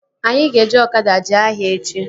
Anyị ga-eji ọkada jee ahịa echi